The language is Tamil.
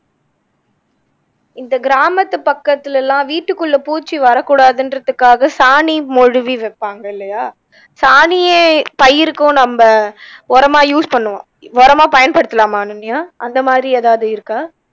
இந்த கிராமத்து பக்கத்துலயெல்லாம் வீட்டுக்குள்ள பூச்சி வரக்கூடாதுன்றதுக்காக சாணி மொழுவி வைப்பாங்க இல்லையா சாணியே பயிருக்கும் நம்ப உரமா use பண்ணுவா உரமா பயன்படுத்தலாம அனன்யா அந்த மாதிரி எதாவது இருக்கா